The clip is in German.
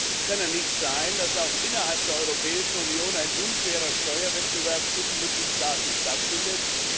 Es kann nicht sein, dass auch innerhalb der Europäischen Union ein unfairer Steuerwettbewerb zwischen Mitgliedstaaten stattfindet.